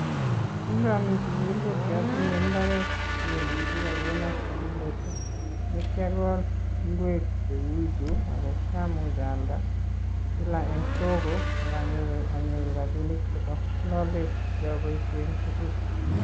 Kingami sukul ko kiatinye mbaret ne kigona sigindet ne kiakol ingwek che kiamuch aalda kila eng (soko) akanyoru rabinik chebo lolet che kiaboishen en sukul